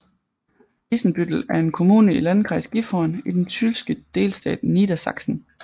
Isenbüttel er en kommune i Landkreis Gifhorn i den tyske delstat Niedersachsen